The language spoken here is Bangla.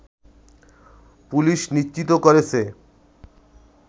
পুলিশ নিশ্চিত করেছে